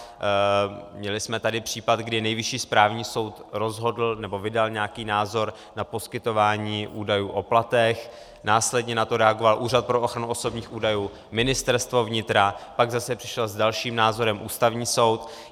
Měli jsme tady případ, kdy Nejvyšší správní soud rozhodl, nebo vydal nějaký názor na poskytování údajů o platech, následně na to reagoval Úřad pro ochranu osobních údajů, Ministerstvo vnitra, pak zase přišel s dalším názorem Ústavní soud.